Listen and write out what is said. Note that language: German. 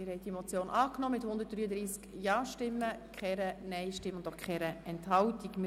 Sie haben diese Motion mit 133 Ja- gegen 0 Nein-Stimmen bei 0 Enthaltungen angenommen.